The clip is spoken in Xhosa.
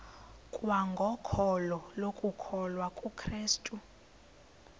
kwangokholo lokukholwa kukrestu